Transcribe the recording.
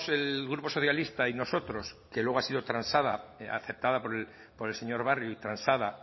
el grupo socialista y nosotros que luego ha sido transada aceptada por el señor barrio y transada